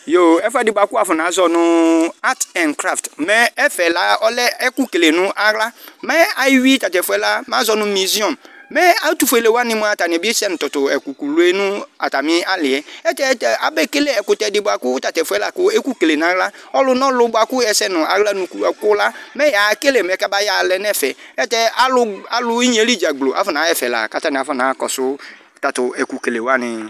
Yo ɛfuɛdi ku wafɔnazɔ nu akt ánkraft ɛfɛla ɔlɛ ɛku lele nu aɣla mɛ eyi tatɛfuɛ la mɛ azɔ nu visiɔ mɛ ɛtufuele wani bi se nu tatɛku fuele nu atami aliɛ naɣla mɛ ɛsɛnu aɣla nuku mɛ yekele kamayɔ yɛ alɛnu ɛfɛ alu nu inyedzagblo afɔnaɣa ɛvɛ la kana kɔsu tatɛkukele wani